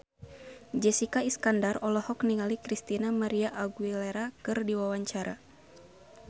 Jessica Iskandar olohok ningali Christina María Aguilera keur diwawancara